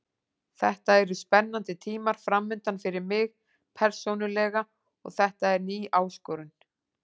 Þetta eru spennandi tímar framundan fyrir mig persónulega og þetta er ný áskorun.